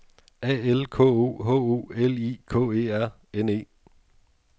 A L K O H O L I K E R N E